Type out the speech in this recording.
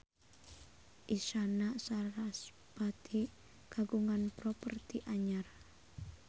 Isyana Sarasvati kagungan properti anyar